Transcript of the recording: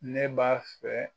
Ne b'a fɛ.